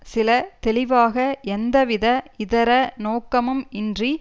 சில தெளிவாக எந்த வித இதர நோக்கமும் இன்றி